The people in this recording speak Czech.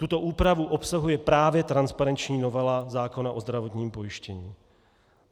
Tuto úpravu obsahuje právě transparenční novela zákona o zdravotním pojištění.